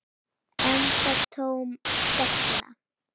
Enda tóm della.